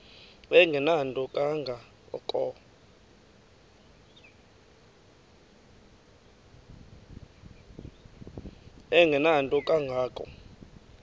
engenanto kanga ko